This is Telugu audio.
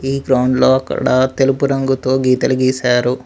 ఈ గ్రౌండ్ లో అక్కడ తెలుపు రంగుతో గీతలు గీశారు.